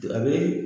A bɛ